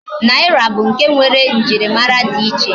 Naira bu nke nwere njirimara di iche